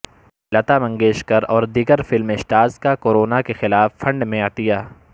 لتامنگیشکر اور دیگر film stars کا کورونا کے خلاف فنڈ میں عطیہ